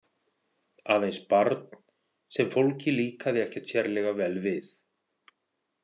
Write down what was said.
Aðeins barn sem fólki líkaði ekkert sérlega vel við.